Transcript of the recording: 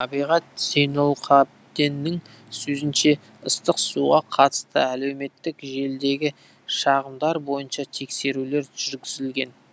табиғат зейнұлқабденнің сөзінше ыстық суға қатысты әлеуметтік желідегі шағымдар бойынша тексерулер жүргізілген